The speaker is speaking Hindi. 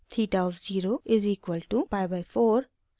theta of zero is equal to pi by 4 और